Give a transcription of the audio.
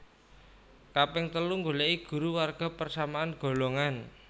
Kaping telu nggoleki guru warga persamaan golongan